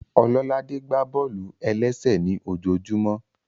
Ọlọ́ládé gbá bọ́ọ̀lù-ẹlẹ́sẹ̀ ní ojojúmọ́